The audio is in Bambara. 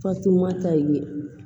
Fatumata ye